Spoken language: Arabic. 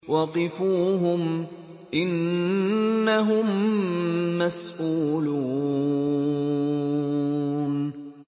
وَقِفُوهُمْ ۖ إِنَّهُم مَّسْئُولُونَ